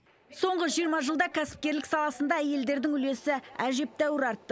соңғы жиырма жылда кәсіпкерлік саласында әйелдердің үлесі әжептәуір артты